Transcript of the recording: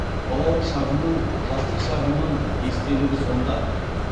балалық шағымның жастық шағымның естелігі сонда